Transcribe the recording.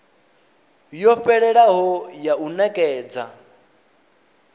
yo fhelelaho ya u nekedza